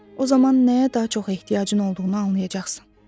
O zaman nəyə daha çox ehtiyacın olduğunu anlayacaqsan.